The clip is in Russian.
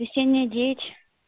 весенняя девять